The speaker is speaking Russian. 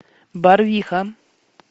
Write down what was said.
барвиха